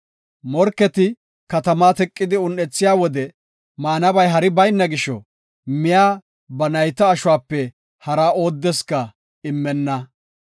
Morketi katamaa teqidi un7ethiya wode maanabay hari bayna gisho, miya ba nayta ashuwape hara oodeska immenna.